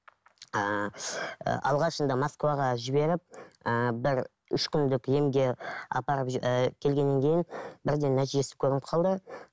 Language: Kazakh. ііі алғашында москваға жіберіп ііі бір үш күндік емге апарып і келгеннен кейін бірден нәтижесі көрініп қалды